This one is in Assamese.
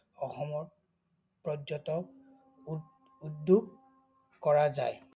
অসমত পৰ্য্যতক উদ্যোগ কৰা যায়।